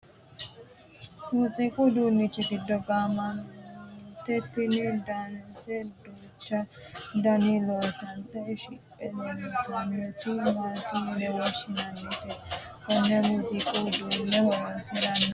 muziiqu uduunnichi giddo gaammanniti tini danase duuchu daninni loosante shiqqe leeltannoti maati yine woshshinannite? konne muuziiqu uduunne horonsi'nannihu mamaati ?